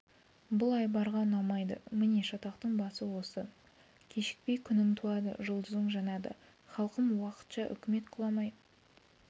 бұл айбарға ұнамайды міне шатақтың басы осы кешікпей күнің туады жұлдызың жанады халқым уақытша үкімет құламай